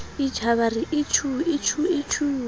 a re itjhuu itjhuu itjhuu